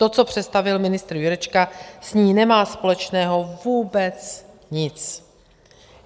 To, co představil ministr Jurečka, s ní nemá společného vůbec nic.